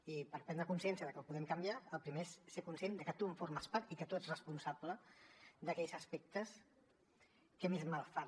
i per prendre consciència de que ho podem canviar el primer és ser conscient de que tu en formes part i que tu ets responsable d’aquells aspectes que més mal fan